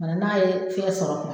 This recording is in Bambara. Kumana n'a ye fiɲɛ sɔrɔ tuma